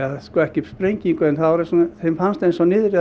nei sko ekki sprengingu en þeim fannst eins og niðri